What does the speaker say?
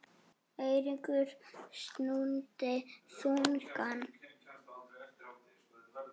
Eiríkur stundi þungan.